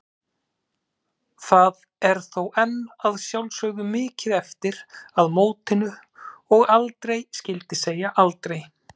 Það er þó enn að sjálfsögðu mikið eftir að mótinu og aldrei skyldi segja aldrei.